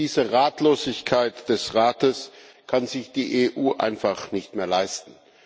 Diese Ratlosigkeit des Rates kann sich die EU einfach nicht mehr leisten.